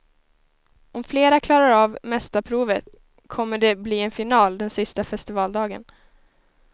Om flera klarar av mästarprovet kommer det bli en final den sista festivaldagen.